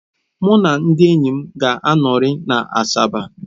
Mụ na ndị enyi m ga-anọrị na Asaba.